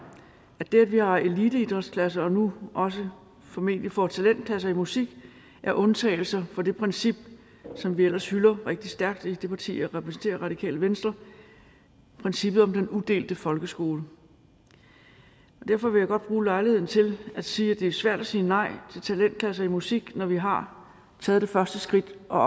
at det at vi har eliteidrætsklasser og nu også formentlig får talentklasser i musik er undtagelser fra det princip som vi ellers hylder rigtig stærkt i det parti jeg repræsenterer radikale venstre princippet om den udelte folkeskole derfor vil jeg godt bruge lejligheden til at sige at det er svært at sige nej til talentklasser i musik når vi har taget det første skridt og